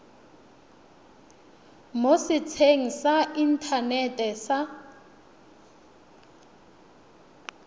mo setsheng sa inthanete sa